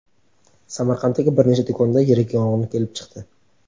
Samarqanddagi bir nechta do‘konda yirik yong‘in kelib chiqdi.